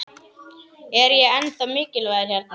Er ég ennþá mikilvægur hérna?